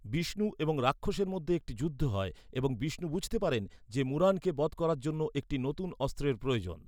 বিষ্ণু এবং রাক্ষসের মধ্যে একটি যুদ্ধ হয় এবং বিষ্ণু বুঝতে পারেন যে মুরানকে বধ করার জন্য একটি নতুন অস্ত্রের প্রয়োজন।